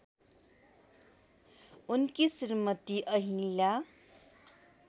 उनकी श्रीमती अहिल्या